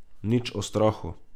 Nič o strahu.